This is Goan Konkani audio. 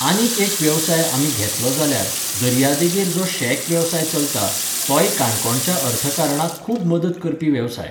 आनीक एक वेवसाय जर आमी घेतलो जाल्यार, दर्या देगेर जो शॅक वेवसाय चलता, तोय काणकोणच्या अर्थकारणाक खूब मदत करपी वेवसाय.